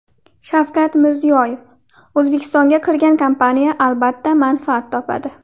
Shavkat Mirziyoyev: O‘zbekistonga kirgan kompaniya, albatta, manfaat topadi.